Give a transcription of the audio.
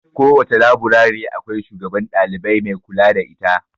Kowace laburare akwai shugaban dalibai mai kula da ita.